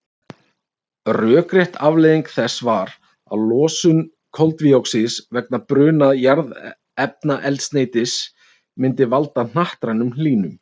Rökrétt afleiðing þess var að losun koldíoxíðs vegna bruna jarðefnaeldsneytis myndi valda hnattrænni hlýnun.